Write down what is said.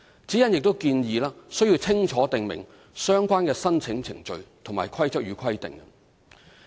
指引亦建議須清楚訂明相關的申請程序及規則與規定。